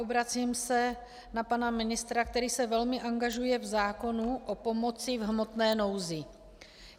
Obracím se na pana ministra, který se velmi angažuje v zákoně o pomoci v hmotné nouzi.